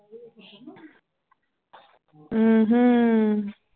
ਹਮ